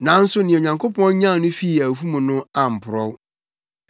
Nanso nea Onyankopɔn nyan no fii awufo mu no amporɔw.